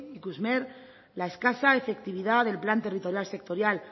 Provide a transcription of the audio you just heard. ikusmer la escasa la efectividad del plan territorial sectorial